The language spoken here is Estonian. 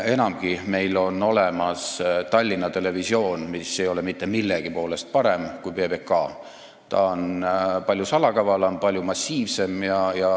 Enamgi, meil on olemas Tallinna Televisioon, mis ei ole mitte millegi poolest parem kui PBK, vaid on palju salakavalam, palju massiivsem.